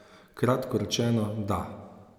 Kratko rečeno, da.